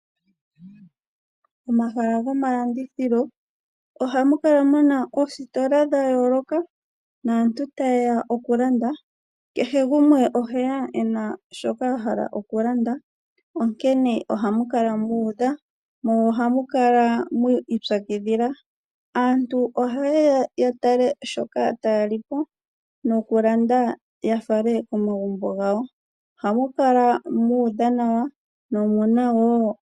Momahala gomalandithilo ohamu kala muna oositola dha yooloka naantu tayeya okulanda kehe gumwe oheya ena shoka ahala okulanda onkene ohamu kala mu udha mo ohamukala mwi ipyakidhila. Aantu ohaya yeya ya tale shoka tayalipo nokulanda yafale komagumbo gawo. Ohamu kala mu udha nawa